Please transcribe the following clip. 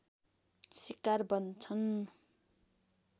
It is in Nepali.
शिकार बन्छन्